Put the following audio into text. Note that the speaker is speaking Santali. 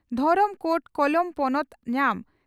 ᱫᱷᱚᱨᱚᱢ ᱠᱳᱰ ᱠᱚᱞᱚᱢ ᱯᱚᱱᱚᱛ ᱧᱟᱢ